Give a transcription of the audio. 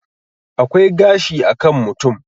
akwai gashi a kan mutum